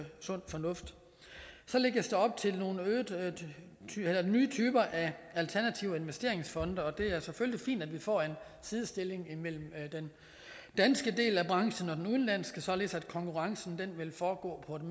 sund fornuft så lægges der op til nogle nye typer af alternative investeringsfonde og det er selvfølgelig fint at vi får en sidestilling imellem den danske del af branchen og den udenlandske således at konkurrencen vil foregå på et